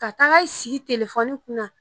Ka taga i sigi telefɔni kunna